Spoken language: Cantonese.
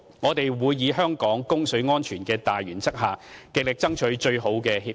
我們會以香港供水安全的大原則，極力爭取最好的協議。